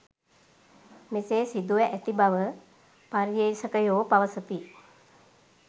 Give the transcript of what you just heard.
මෙසේ සිදුව ඇති බව පර්යේෂකයෝ පවසති